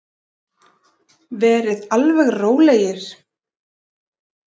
Verið alveg rólegir!